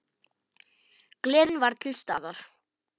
Gleðin var til staðar.